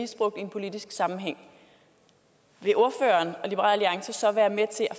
misbrugt i en politisk sammenhæng vil ordføreren og liberal alliance så være med til at